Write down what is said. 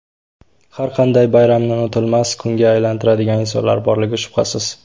Har qanday bayramni unutilmas kunga aylantiradigan insonlar borligi shubhasiz.